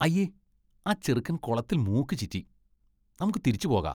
അയ്യേ! ആ ചെറുക്കൻ കുളത്തിൽ മൂക്ക് ചീറ്റി. നമുക്ക് തിരിച്ചു പോകാ.